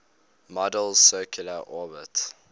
model's circular orbits